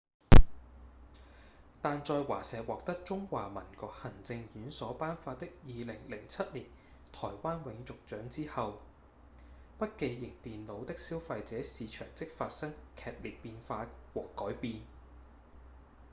但在華碩獲得中華民國行政院所頒發的2007年台灣永續獎之後筆記型電腦的消費者市場即發生劇烈變化和改變